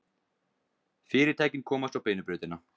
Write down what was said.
Fyrirtækin komast á beinu brautina